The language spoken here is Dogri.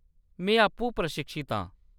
में आपूं प्रशिक्षत आं।